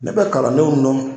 Ne bɛ kalandenw nɔ.